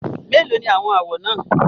Méèló ni àwọn àwọ̀ náà?